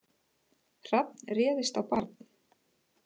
Hrafn réðist á barn